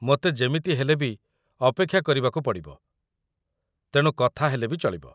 ମୋତେ ଯେମିତି ହେଲେ ବି ଅପେକ୍ଷା କରିବାକୁ ପଡ଼ିବ, ତେଣୁ କଥା ହେଲେ ବି ଚଳିବ ।